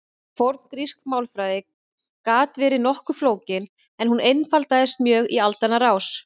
forngrísk málfræði gat verið nokkuð flókin en hún einfaldaðist mjög í aldanna rás